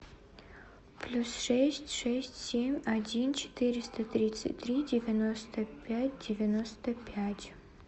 плюс шесть шесть семь один четыреста тридцать три девяносто пять девяносто пять